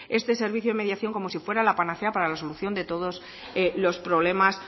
este servicio de mediación como si fuera la panacea para la solución de todos los problemas